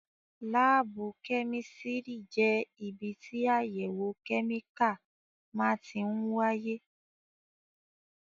Láábù kẹ́mísìrì jẹ́ ibi tí àyẹ̀wò kẹ́míkà máa tí ń wáyé